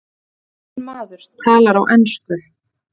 Ónefndur maður talar á ensku.